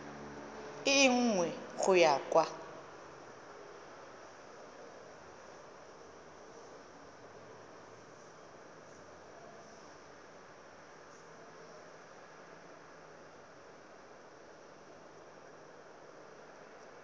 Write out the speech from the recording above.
e nngwe go ya kwa